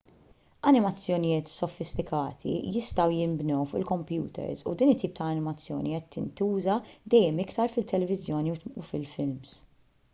animazzjonijiet sofistikati jistgħu jinbnew fuq il-kompjuters u din it-tip ta' animazzjoni qed jintuża dejjem iktar fit-televiżjoni u fil-films